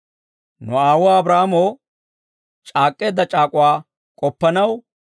Nu aawuwaa Abraahaamoo, c'aak'k'eedda c'aak'uwaa k'oppanaw,